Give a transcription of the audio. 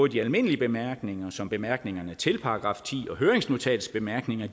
de almindelige bemærkninger som bemærkningerne til § ti og høringsnotatets bemærkninger